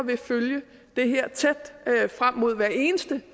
vil følge det her tæt frem mod hver eneste